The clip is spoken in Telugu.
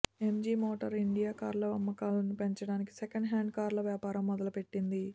ఎంజీ మోటార్ ఇండియా కార్ల అమ్మకాలను పెంచడానికి సెకండ్ హ్యాండ్ కార్ల వ్యాపారం మొదలు పెట్టింది